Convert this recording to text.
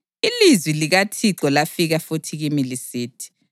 Ilizwi likaThixo lafika futhi kimi lisithi: